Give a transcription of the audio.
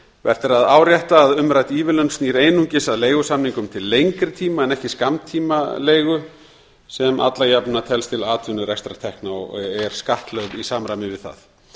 vert er að árétta að umrædd ívilnun snýr einungis að leigusamningum til lengri tíma en ekki skammtímaleigu sem alla jafna telst til atvinnurekstrartekna og er skattlögð í samræmi við það